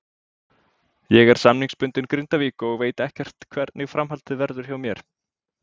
Ég er samningsbundinn Grindavík og veit ekkert hvernig framhaldið verður hjá mér.